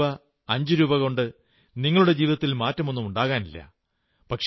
രണ്ടുരൂപയോ അഞ്ചുരൂപായോകൊണ്ട് നിങ്ങളുടെ ജീവിതത്തിൽ മാറ്റമൊന്നുമുണ്ടാകാനില്ല